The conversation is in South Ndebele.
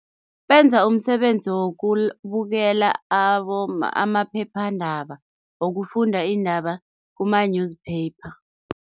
Benza umsebenzi wokubukela amaphephandaba, wokufunda iindaba kuma-newspaper.